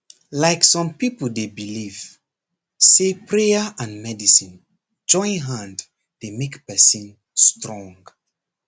like some people dey believe say na prayer and medicine join hand dey make person strong